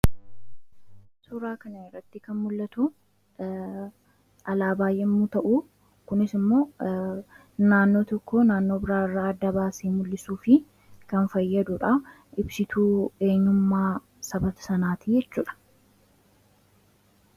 suuraa kanaratti kan mul'atuu alaabaa yemmuu ta'u kunis immoo naannoo tokko naannoo biraa irraa adda baasee mul'isuu fi kan fayyaduudhaa ibsituu eenyummaa saboota sanaati jechuudha.